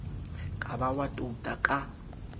ka ba wa touta ka